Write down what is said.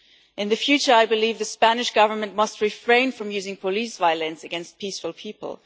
In the future, I believe the Spanish Government must refrain from using police violence against peaceful people.